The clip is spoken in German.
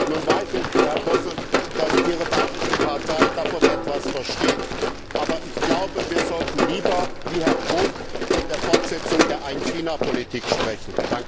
Nun weiß ich, Herr Posselt, dass Ihre bayrische Partei davon etwas versteht, aber ich glaube, wir sollten lieber wie Herr Brok von der Fortsetzung der Ein China Politik sprechen.